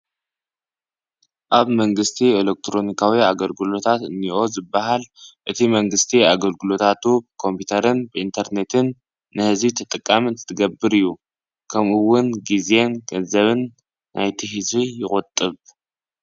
ኣብ መንግስቲ ኤለክሮኒካዊ ኣገልግሎታት እኒሆ ዝበሃል እቲ መንግስቲ ኣገልግሎታቱ ብከምፒተርን ብኢንተርኔትን ንህዝቢ ተጠቃሚ አትትገብር እዩ፡፡ ከምኡውን ጊዜን ገንዘብን ናይቲ ህዝቢ ይቑጥብ፡፡